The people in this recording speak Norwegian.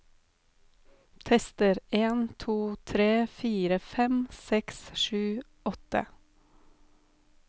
Tester en to tre fire fem seks sju åtte